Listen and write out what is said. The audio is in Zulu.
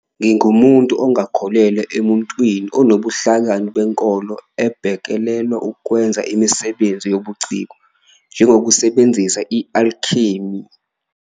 Ngingumuntu ongakholelwa emuntwini onobuhlakani benkolo obhekelela ukwenza imisebenzi yobuciko. njengokusebenzisa i-alchemy.